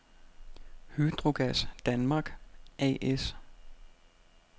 Hydrogas Danmark A/S